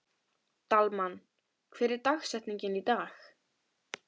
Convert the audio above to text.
Dalmann, hver er dagsetningin í dag?